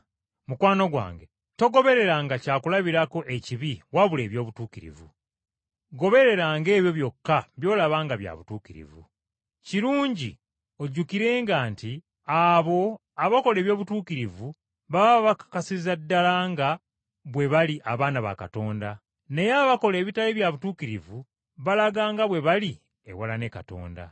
Mukwano gwange, togobereranga kyakulabirako ekibi wabula eby’obutuukirivu. Gobereranga ebyo byokka by’olaba nga bya butuukirivu. Kirungi ojjukirenga nti abo abakola eby’obutuukirivu baba bakakasiza ddala nga bwe bali abaana ba Katonda; naye abakola ebitali bya butuukirivu balaga nga bwe bali ewala ne Katonda.